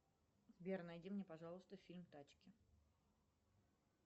сбер найди мне пожалуйста фильм тачки